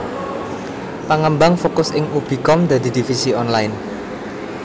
Pangembang fokus ing ubi com dadi divisi online